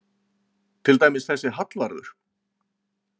Til dæmis þessi Hallvarður.